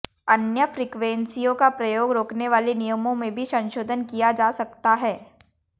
अन्य फ्रीक्वेंसियों का प्रयोग रोकने वाले नियमों में भी संशोधन किया जा सकता है